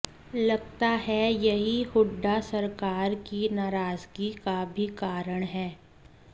लगता है यही हुड्डा सरकार की नाराजगी का भी कारण है